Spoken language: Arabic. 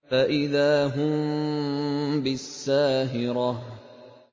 فَإِذَا هُم بِالسَّاهِرَةِ